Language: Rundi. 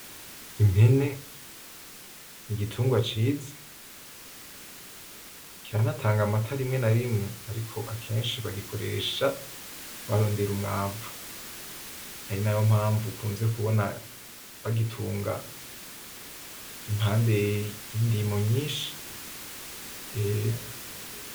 Impene n'igitungwa ciza kiranatanga amata rimwe na rimwe ariko akenshi bagikoresha barondera umwavu ari nayo mpamvu ukunze kubona bagitunga impande y'indimo nyinshi .